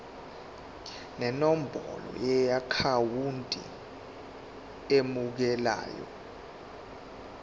nenombolo yeakhawunti emukelayo